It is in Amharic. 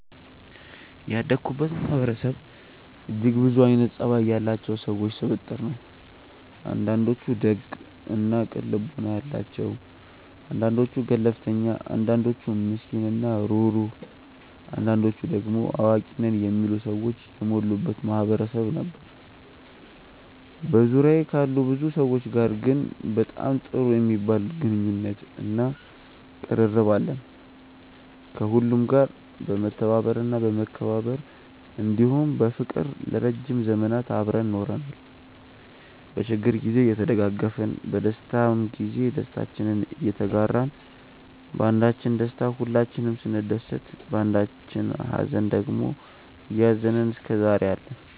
ያደኩበት ማህበረሰብ እጅግ ብዙ አይነት ፀባይ ያላቸው ሰዎች ስብጥር ነው። አንዳንዶቹ ደግ እና ቅን ልቦና ያላቸው አንዳንዶቹ ገለፍተኛ አንዳንዶቹ ምስኪን እና ሩህሩህ አንዳንዶቹ ደሞ አዋቂ ነን የሚሉ ሰዎች የሞሉበት ማህበረሰብ ነበር። በዙሪያዬ ካሉ ብዙ ሰዎች ጋር ግን በጣም ጥሩ የሚባል ግንኙነት እና ቅርርብ አለን። ከሁሉም ጋር በመተባበር እና በመከባበር እንዲሁም በፍቅር ለረዥም ዘመናት አብረን ኖረናል። በችግር ግዜ እየተደጋገፍን በደስታም ግዜ ደስታችንን እየተጋራን ባንዳችን ደስታ ሁላችንም ስንደሰት ባንዳችኝ ሃዘን ደግሞ እያዘንን እስከዛሬ አለን።